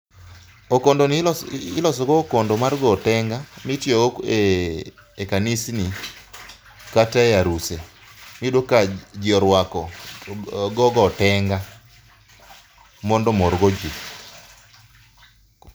okondoni iloso go okondo mar go otenga mitiyo go e kanisni kata e aruse, iyudo ka ji orwako gogo otenga mondo omor go ji.